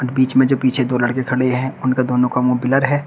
बीच में जो पीछे दो लड़के खड़े हैं उनका दोनों का मुंह ब्लर है।